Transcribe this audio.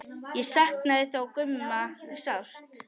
Ég saknaði þó Gumma sárt.